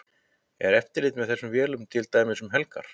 Er eftirlit með þessum vélum til dæmis um helgar?